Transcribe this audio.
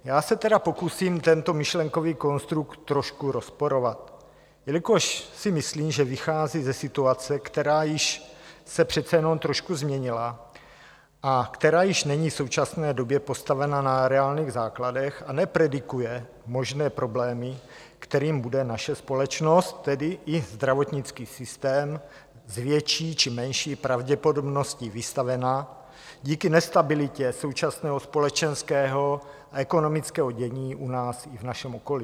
Já se tedy pokusím tento myšlenkový konstrukt trošku rozporovat, jelikož si myslím, že vychází ze situace, která již se přece jenom trošku změnila a která již není v současné době postavena na reálných základech a nepredikuje možné problémy, kterým bude naše společnost, tedy i zdravotnický systém, s větší či menší pravděpodobností vystavena díky nestabilitě současného společenského a ekonomického dění u nás i v našem okolí.